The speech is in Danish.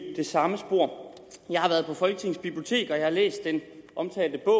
samme spor jeg har været på folketingets bibliotek og jeg har læst den omtalte bog